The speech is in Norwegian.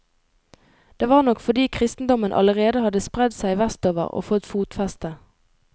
Det var nok fordi kristendommen allerede hadde spredd seg vestover og fått fotfeste.